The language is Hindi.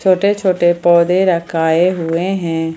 छोटे छोटे पौधे रखाए हुए हैं।